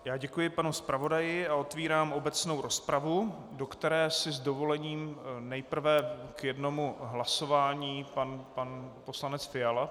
Já děkuji panu zpravodaji a otevírám obecnou rozpravu, do které s dovolením nejprve k jednomu hlasování pan poslanec Fiala.